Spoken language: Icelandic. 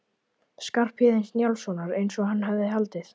Skarphéðins Njálssonar eins og hann hafði haldið.